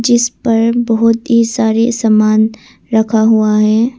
जिस पर बहुत ही सारे समान रखा हुआ है।